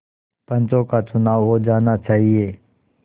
पंचों का चुनाव हो जाना चाहिए